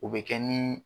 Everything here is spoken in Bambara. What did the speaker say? O bɛ kɛ ni